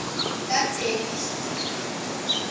kadelisile